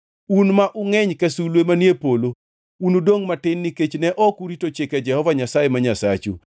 Un ma ungʼeny ka sulwe manie polo unudongʼ matin nikech ne ok urito chike Jehova Nyasaye ma Nyasachu.